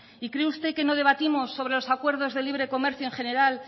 y cree usted que no debatimos sobre los acuerdos de libre comercio en general